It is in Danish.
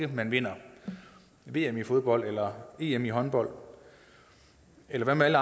man vinder vm i fodbold eller em i håndbold eller hvad med alle